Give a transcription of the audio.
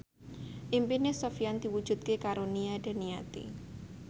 impine Sofyan diwujudke karo Nia Daniati